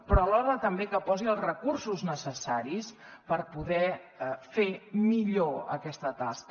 però alhora també que posi els recursos necessaris per poder fer millor aquesta tasca